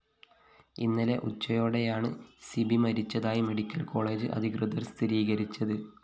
ഇന്നലെ ഉച്ചയോടെയാണ് C B മരിച്ചതായി മെഡിക്കൽ കോളേജ്‌ അധികൃതര്‍ സ്ഥിരീകരിച്ചത്